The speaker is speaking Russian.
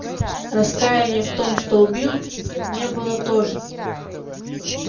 раскаяния в том что убил не было тоже